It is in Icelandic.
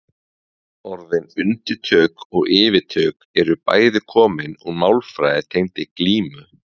Orðin undirtök og yfirtök eru bæði komin úr málfari tengdu glímu.